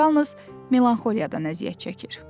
Yalnız melanxoliyadan əziyyət çəkir.